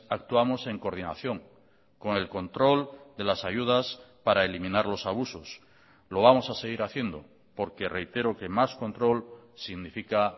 actuamos en coordinación con el control de las ayudas para eliminar los abusos lo vamos a seguir haciendo porque reitero que más control significa